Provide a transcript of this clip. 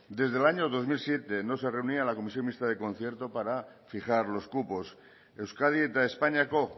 desde el año dos mil siete no se reunía la comisión mixta del concierto para fijar los cupos euskadi eta espainiako